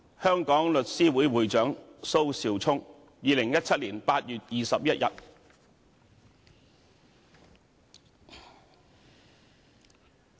香港律師會會長蘇紹聰2017年8月21日。